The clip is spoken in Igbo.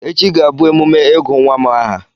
Echi ga-abụ emume ịgụ nwa m aha.